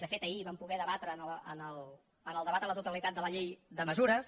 de fet ahir ho vam poder debatre en el debat a la totalitat de la llei de mesures